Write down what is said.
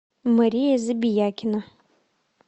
мария забиякина